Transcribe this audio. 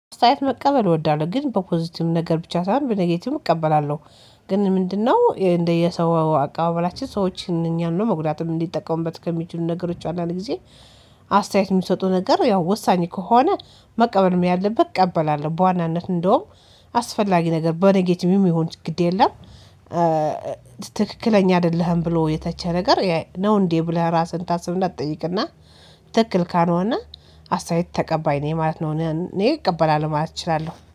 አስተያየት መቀበል እወዳለሁ ግን በፖዚቲቭ ነገር ብቻ ሳይሆን በኔጌቲቭ እቀበላለሁ። ግን ምንድነው? እንደየሰው አቀባበላችን ሰዎችን እኛን ነው መጉዳትም እንዲጠቀሙበት ከሚችሉ ነገሮች አንዳንድ ጊዜ አስተያየት የሚሰጡ ነገር ያው ወሳኝ ከሆነ መቀበልም ያለበት እቀበላለሁ በዋናነት እንደውም አስፈላጊ ነገር በነጌቲቭም ይሁን ግድ የለም። ትክክለኛ አይደለህም ብሎ የተቸ ነገር ነው እንዴ ብለህ ራስህን ታስብ እና ትጠይቅና ትክክል ካልሆነ አስተያየት ተቀባይ ነው ማለት ነው። እኔ እቀበላለሁ ማለት እችላለሁ